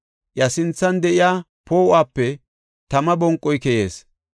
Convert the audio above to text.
Iya sinthan de7iya poo7uwape tama bonqoy keyees.